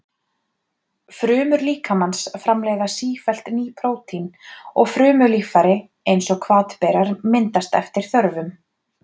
Frumur líkamans framleiða sífellt ný prótín, og frumulíffæri eins og hvatberar myndast eftir þörfum.